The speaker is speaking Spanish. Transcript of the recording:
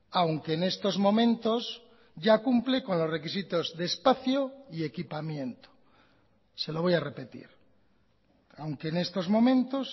aunque en estos momentos ya cumple con los requisitos de espacio y equipamiento se lo voy a repetir aunque en estos momentos